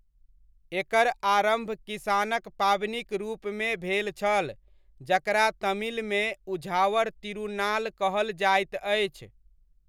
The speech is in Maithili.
एकर आरम्भ किसानक पाबनिक रूपमे भेल छल जकरा तमिलमे उझावर तिरुनाल कहल जाइत अछि।